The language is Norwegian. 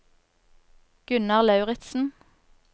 Gunnar Lauritsen